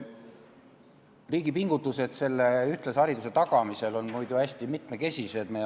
Riigi pingutused ühtlase hariduse tagamisel on hästi mitmekesised.